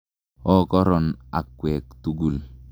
Okoron akwek tukul.